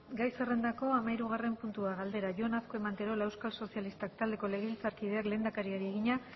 gai zerrendako hamahirugarren puntua galdera jon azkue manterola euskal sozialistak taldeko legebiltzarkideaklehendakariari egina